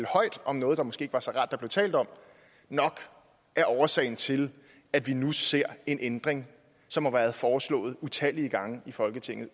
højt om noget det måske ikke var så rart at der blev talt om nok er årsagen til at vi nu ser en ændring som har været foreslået utallige gange i folketinget